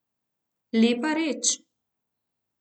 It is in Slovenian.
Lepa reč.